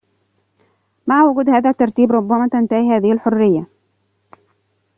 مع وجود هذا الترتيب ربما تنتهي هذه الحرية